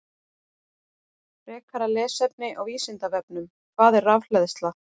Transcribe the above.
Frekara lesefni á Vísindavefnum: Hvað er rafhleðsla?